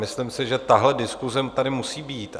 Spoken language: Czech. Myslím si, že tahle diskuse tady musí být.